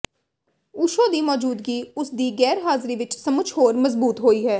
ਓਸ਼ੋ ਦੀ ਮੌਜੂਦਗੀ ਉਸਦੀ ਗੈਰਹਾਜਿਰੀ ਵਿੱਚ ਸਚਮੁਚ ਹੋਰ ਮਜਬੂਤ ਹੋਈ ਹੈ